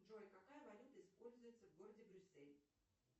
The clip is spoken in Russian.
джой какая валюта используется в городе брюссель